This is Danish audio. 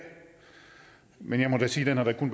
men jeg må da sige at den